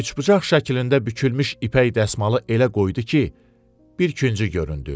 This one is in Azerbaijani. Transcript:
Üçbucaq şəklində bükülmüş ipək dəsmalı elə qoydu ki, bir küncü göründü.